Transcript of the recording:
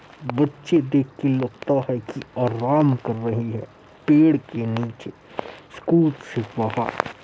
बच्ची देख के लगता है की आराम कर रही है। पेड़ के निचे स्कूल से बाहर--